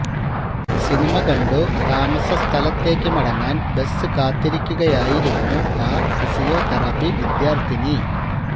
cinema കണ്ടു താമസ സ്ഥലത്തേക്കു മടങ്ങാൻ ബസ് കാത്തിരിക്കുകയായിരുന്നു ആ ഫിസിയോതെറപ്പി വിദ്യാർത്ഥിനി